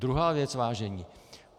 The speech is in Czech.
Druhá věc, vážení.